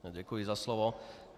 Děkuji za slovo.